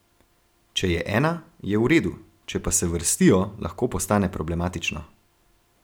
Če je ena, je v redu, če pa se vrstijo, lahko postane problematično.